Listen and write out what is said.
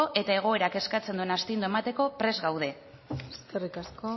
eta egoerak eskatzen duen astindua emateko prest gaude eskerrik asko